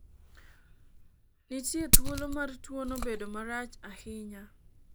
nitie thuolo mar tuono bedo marach ahinya